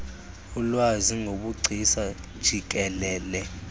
ulwazi ngobugcisa jikelele